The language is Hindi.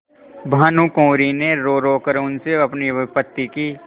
भानुकुँवरि ने रोरो कर उनसे अपनी विपत्ति की